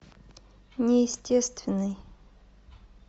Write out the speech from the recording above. неестественный